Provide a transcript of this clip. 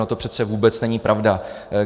No to přece vůbec není pravda.